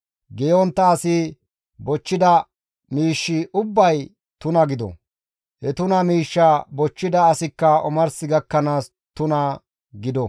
Geeyontta asi bochchida miishshi ubbay tuna gido; he tuna miishshaa bochchida asikka omars gakkanaas tuna gido.»